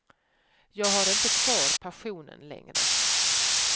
Jag har inte kvar passionen längre.